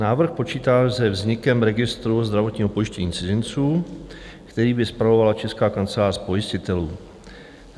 Návrh počítá se vznikem registru zdravotního pojištění cizinců, který by spravovala Česká kancelář pojistitelů.